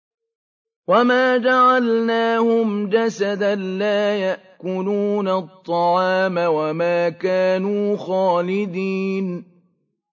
وَمَا جَعَلْنَاهُمْ جَسَدًا لَّا يَأْكُلُونَ الطَّعَامَ وَمَا كَانُوا خَالِدِينَ